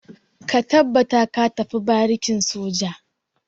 Ka tabbata ka tafi barikin soja!